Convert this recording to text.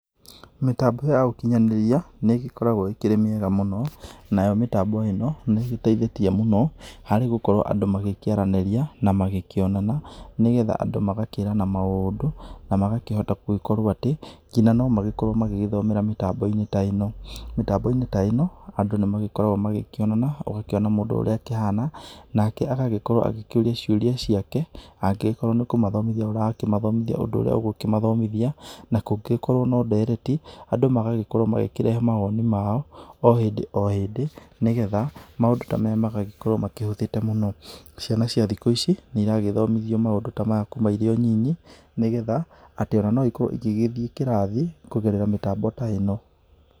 Mĩtambo ya ũkĩnyanĩria nĩ ĩgĩkoragwo ĩkĩrĩ mĩega mũno. Nayo mĩtambo ĩno nĩ ĩgĩteithĩtie mũno harĩ gũkorwo andũ magĩkĩaranĩria na magĩkĩonana nĩgetha andũ magakĩrana maũndũ, na magakĩhota gũgĩkorwo atĩ ngina no magĩkorwo magĩthomera mĩtambo-inĩ ta ĩno. Mitambo-inĩ ta ĩno, andũ nĩ magĩkoragwo magĩkĩonana, ũgakĩona mũndũ ũrĩa akĩhana, nake agagĩkorwo agĩkĩũria ciũria ciake, angĩgĩkorwo nĩ kũmathomĩthia ũrakĩmathomithia ũndũ ũrĩa ũgũkĩmathomithia, na kũngĩgĩkorwo no ndereti, andũ magagĩkorwo magĩkĩrehe mawoni mao o hindi o hindi nĩgetha, maũndũ ta maya magagĩkorwo makĩhũthĩte mũno. Ciana cia thiku ici nĩ iragĩthomithio maũndũ ta maya kuuma irĩo nini nĩgetha atĩ ona no ikorwo igĩgĩthiĩ kĩrathi kũgerera mĩtambo ta ĩno.